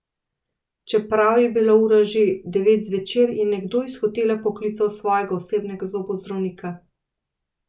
Čeprav je bila ura že devet zvečer, je nekdo iz hotela poklical svojega osebnega zobozdravnika.